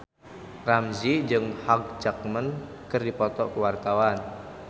Ramzy jeung Hugh Jackman keur dipoto ku wartawan